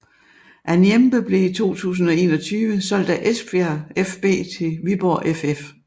Anyembe blev i 2021 solgt af Esbjerg fB til Viborg ff